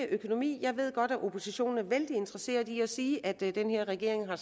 økonomi jeg ved godt at oppositionen har en vældig interesseret i at sige at den her regering har